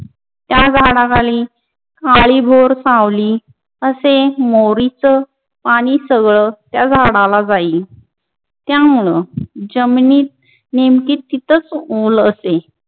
त्या झाडाखाली काळीभोर सावली असे मोरीच आणि सगळं त्या झाडाला जाई त्यामुळं जमिनीत नेमकी तिथंच उलते